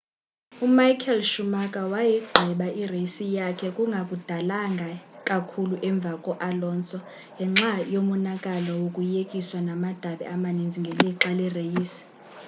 umichael schumacher wayigqiba ireyisi yakhe kungakudalanga kakhulu emva ko alonso ngenxa yomonakalo wokuyekiswa namadabi amaninzi ngelixa lereyisi